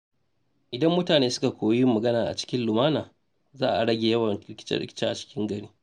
Idan mutane suka koyi yin magana cikin lumana, za a rage yawan rikice-rikice a gari.